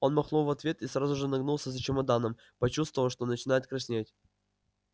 он махнул в ответ и сразу же нагнулся за чемоданом почувствовав что начинает краснеть